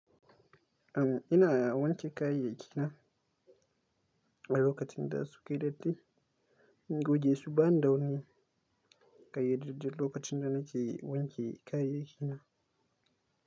Am, ina wanke kayayyaki na a lokacin da sukayi datti. In goge su ba nida wani, ƙayyadaddan lokacin da nake wanke kayayyaki na.